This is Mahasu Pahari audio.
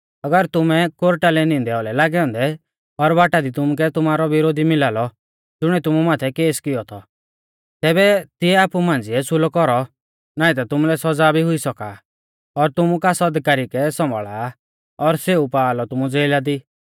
अगर तुमु कोर्टा लै नींदै औलै लागै औन्दै और बाटा दी तुमुकै तुमारौ बिरोधी मिला लौ ज़ुणिऐ तुमु माथै केस कियौ थौ तैबै तिऐ आपु मांझ़िऐ सुलौ कौरौ नाईं ता तुमुलै सौज़ा भी हुई सौका और तुमु कास अधिकारी कै सम्भाल़ा और सेऊ पा तुमु ज़ेला दी